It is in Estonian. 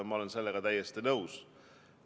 Ma olen sellega täiesti nõus.